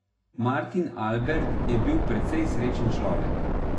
Martin Albert je bil precej srečen človek.